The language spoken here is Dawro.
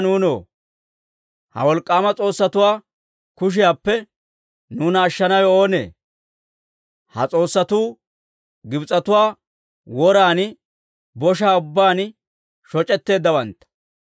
Aayye ana nuunoo! Ha wolk'k'aama s'oossatuwaa kushiyaappe nuuna ashshanawe oonee? Ha s'oossatuu Gibs'etuwaa woran boshaa ubbaan shoc'eeddawantta.